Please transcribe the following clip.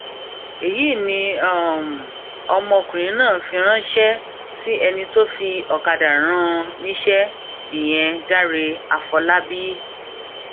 èyí ni um ọmọkùnrin náà fi ránṣẹ um sí ẹni tó fi ọkadà rán an níṣẹ ìyẹn dáre àfọlábábí